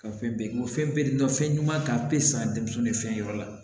Ka fɛn bɛɛ bɔ fɛn bɛɛ ɲuman kan a be san denmisɛnnu ni fɛn yɔrɔ la